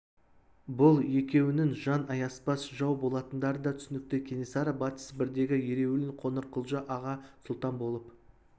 бұл екеуінің жан аяспас жау болатындары да түсінікті кенесары батыс сібірдегі ереуілін қоңырқұлжа аға сұлтан болып